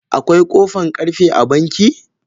Akwai kofan karfe a banki?